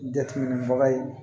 Jateminɛbaga ye